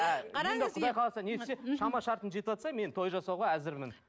ә енді құдай қаласа шама шарқым жетіватса мен той жасауға әзірмін